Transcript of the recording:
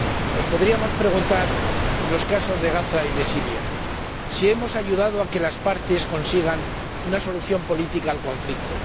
Nos podríamos preguntar, en los casos de Gaza y de Siria, si hemos ayudado a que las partes consigan una solución política al conflicto